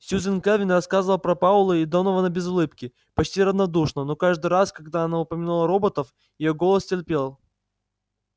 сьюзен кэлвин рассказывала про пауэлла и донована без улыбки почти равнодушно но каждый раз когда она упоминала роботов её голос теплел